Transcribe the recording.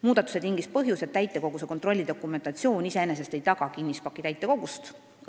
Muudatuse tingis põhjus, et täitekoguse kontrolli dokumentatsioon iseenesest ei taga kinnispaki õiget täitekogust.